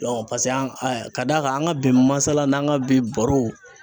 paseke an, ka d'a kan an ka bi masalaw n'an ka bi barow